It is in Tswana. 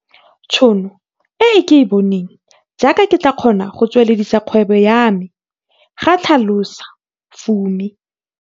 Tšhono e ke e boneng, jaaka ke tla kgona go tsweledisa kgwebo ya me, ga tlhalosa Fumi.